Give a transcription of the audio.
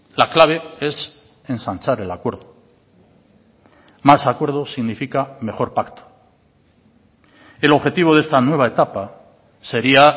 la clave es ensanchar el acuerdo más acuerdo significa mejor pacto el objetivo de esta nueva etapa sería